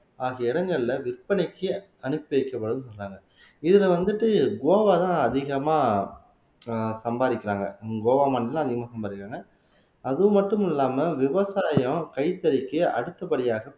ஆகிய இடங்கள்ல விற்பனைக்கு அனுப்பி வைக்கப்படும்னு சொல்றாங்க இதுல வந்துட்டு கோவாதான் அதிகமா ஆஹ் சம்பாதிக்கிறாங்க உம் கோவா மாநிலத்தில அதிகமா சம்பாதிக்கிறாங்க அது மட்டும் இல்லாம விவசாயம் கைத்தறிக்கு அடுத்த படியாக